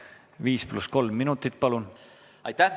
Viis pluss kolm minutit, palun!